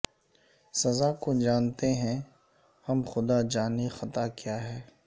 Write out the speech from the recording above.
سزا کو جانتے ہیں ہم خدا جانے خطا کیا ہے